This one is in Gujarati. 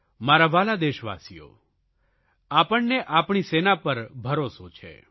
મારા વ્હાલા દેશવાસીઓ આપણને આપણી સેના પર ભરોસો છે